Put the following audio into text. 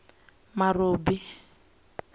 marobi